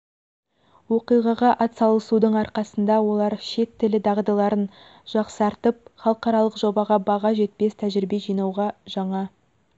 оқиғаға атсалысудың арқасында олар шет тілі дағдыларын жақсартып халықаралық жобада баға жетпес тәжірибе жинауға жаңа